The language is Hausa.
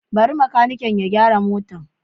Bari makaniki ya gyara motar.